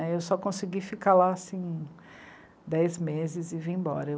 Eu só consegui ficar lá, assim, dez meses e vim embora.